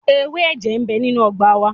Ewé ẹ̀jẹ̀ ń bẹ nínú ọgbà wa.